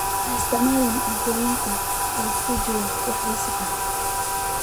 Ha isticmaalin cuntooyinka ay ku jiraan wax wasakh ah.